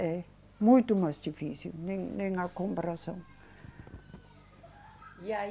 É, muito mais difícil, nem, nem na comparação. E aí